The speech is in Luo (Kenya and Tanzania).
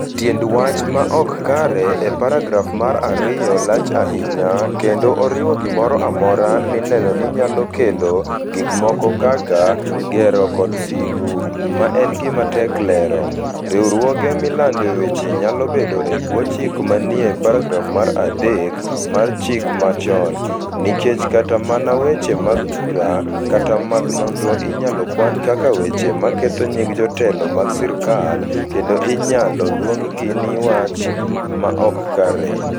Tiend "wach ma ok kare" e paragraf mar 2 lach ahinya, kendo oriwo gimoro amora mineno ni nyalo kelo, gik moko kaka, gero kod sigu (ma en gima tek lero)... Riwruoge milandoe weche nyalo bedo e bwo chike manie paragraf mar 3 mar chik mochanno, nikech kata mana weche mag bura kata mag nonro inyalo kwan kaka weche ma ketho nying jotelo mag sirkal kendo inyalo luonggi ni "wach ma ok kare".